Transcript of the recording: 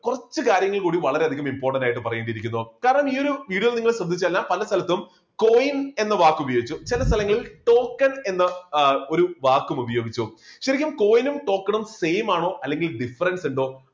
കുറച്ചു കാര്യങ്ങൾ കൂടി വളരെയധികം important ആയിട്ട് പറയേണ്ടതിരിക്കുന്നു. കാരണം ഈയൊരു video നിങ്ങൾ ശ്രദ്ധിച്ചു കഴിഞ്ഞാൽ പല സ്ഥലത്തും coin എന്ന വാക്ക് ഉപയോഗിച്ചു ചില സ്ഥലങ്ങളിൽ token എന്ന ആഹ് ഒരു വാക്കു ഉപയോഗിച്ചു. ശരിക്കും coin ഉം token ഉം same ആണോ അല്ലെങ്കിൽ difference ഉണ്ടോ